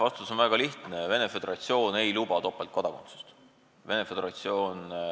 Vastus on väga lihtne: Venemaa Föderatsioon ei luba topeltkodakondsust.